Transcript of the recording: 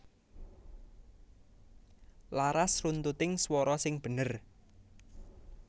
Laras runtuting swara sing bener